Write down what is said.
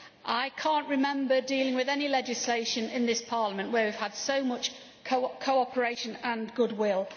I cannot remember dealing with any legislation in this Parliament where we have had so much cooperation and goodwill.